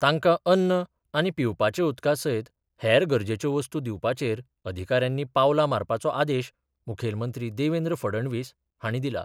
तांकां अन्न आनी पिवपाच्या उदका सयत हेर गरजेच्यो वस्तू दिवपाचेर अधिकाऱ्यांनी पावलां मारपाचो आदेश मुखेलमंत्री देवेंद्र फडणवीस हांणी दिला.